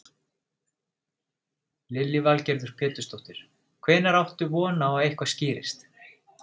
Lillý Valgerður Pétursdóttir: Hvenær áttu von á að eitthvað skýrist?